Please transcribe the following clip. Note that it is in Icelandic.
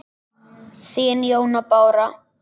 Þín, Jóna Bára.